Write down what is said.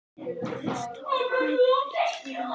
Hið besta var kvæðið flutt, sagði hann loks.